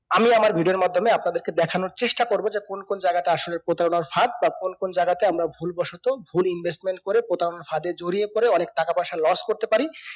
আমি আপনার video র মাধ্যমে আপনাদের কে দেখানোর চেষ্টা করবো যে কোন কোন জায়গায়তে আসলে প্রতারনার ফাঁদ বা কোন কোন জায়গাতে আমরা ভুল বসতো ভুল investment করে প্রতারণার ফাঁদে জড়িয়ে পরে অনেক টাকা পিসা loss করতে পারি